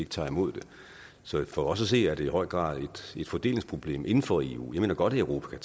tager imod dem så for os at se er det i høj grad et fordelingsproblem inden for eu jeg mener godt at europa